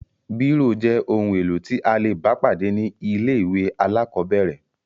Bírò jẹ́ ohun-èlò tí a le bá pàdé ní ilé-ìwé alákọ̀ọ́bẹ̀rẹ̀.